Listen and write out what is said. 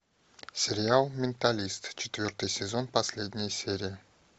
сериал менталист четвертый сезон последняя серия